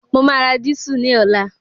Mo máa ra dísù ní ọ̀la